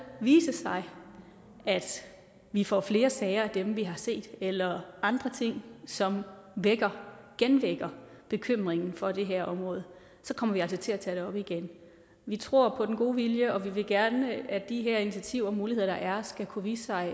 vise sig at vi får flere sager som dem vi har set eller andre ting som vækker genvækker bekymring for det her område kommer vi altså til at tage det op igen vi tror på den gode vilje og vi vil gerne at de her initiativer og muligheder der er skal kunne vise sig